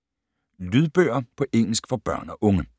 Lydbøger på engelsk for børn og unge